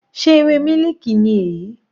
Sé ewé mílìkì ni èyí?